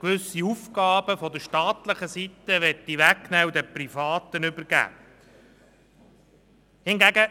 gewisse Aufgaben der staatlichen Seite wegnehmen und den Privaten übergeben möchte.